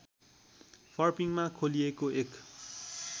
फर्पिङमा खोलिएको एक